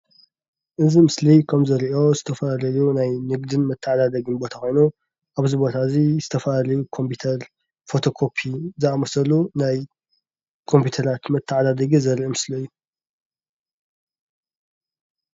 እዚ ምስሊ ከምዝርአዮ ዝተፋላለዪ ናይ ንግድን መተዓዳደግን ቦታ ኮይኑ ኣብዚ ቦታ እዚ ዝተፋላለዩ ኮምፒዩተር ፎቶ ኮፒ ዝኣመሰሉ ናይ ኮምፒቶራት መታዓዳደጊ ዘርኢ ምስሊ እዩ፡፡